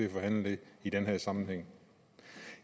at forhandle det i den her sammenhæng